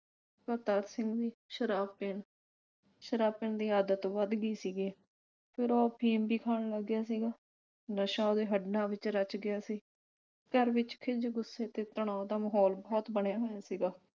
ਕਰਤਾਰ ਸਿੰਘ ਦੀ ਸ਼ਰਾਬ ਪੀਣ ਸ਼ਰਾਬ ਪੀਣ ਦੀ ਆਦਤ ਵੱਧ ਗਈ ਸੀਗੀ ਫਿਰ ਉਹ ਅਫੀਮ ਵੀ ਖਾਣ ਲੱਗ ਗਿਆ ਸੀਗਾ ਨਸ਼ਾ ਉਹਦੇ ਹੱਡਾ ਵਿਚ ਰਚ ਗਿਆ ਸੀ। ਘਰ ਵਿਚ ਖਿੱਝ, ਗੁੱਸੇ ਤੇ ਤਣਾਓ ਦਾ ਮਾਹੌਲ ਬਹੁਤ ਬਣਿਆ ਹੋਇਆ ਸੀਗਾ